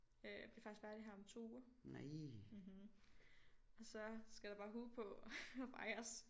Øh bliver faktisk færdig her om 2 uger og så skal der bare hue på og fejres